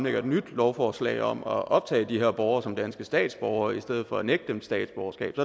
et nyt lovforslag om at optage de her borgere som danske statsborgere i stedet for at nægte dem statsborgerskab